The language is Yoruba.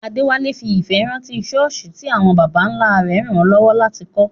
Adewale fi ìfẹ́ rántí ṣọ́ọ̀ṣì tí àwọn baba ńlá rẹ̀ ràn lọ́wọ́ láti kọ́.